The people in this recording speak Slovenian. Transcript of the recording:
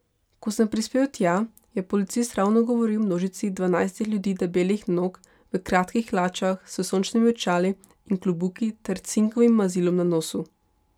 Ko sem prispel tja, je policist ravno govoril množici dvanajstih ljudi debelih nog, v kratkih hlačah, s sončnimi očali in klobuki ter cinkovim mazilom na nosu.